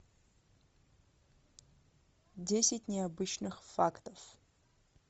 десять необычных фактов